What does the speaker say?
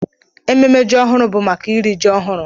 Ememme ji ọhụrụ bụ maka iri ji ọhụrụ.